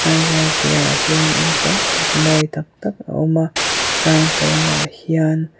phaizawl piahah hian in tam tak mawi tak tak a awm a tlang pawng ah hian--